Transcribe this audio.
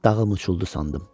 Dağım uçuldu sandım.